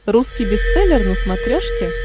русский бестселлер на смотрешке